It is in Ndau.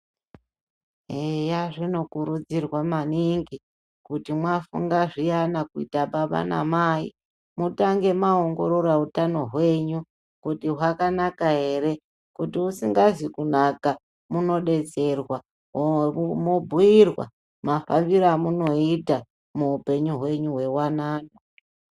Heya, zvinokurudzirwa manhingi kuti mafunga zyiyana kuita baba namai, mutange maongorora utano hwenyu kuti hwakanaka here. Kuti usingazi kunaka mundodetserwa, mobhuyirwa mafambiro amungaita muupenyu hwenyu hwewanano.